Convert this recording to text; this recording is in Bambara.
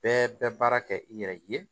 Bɛɛ bɛ baara kɛ i yɛrɛ ye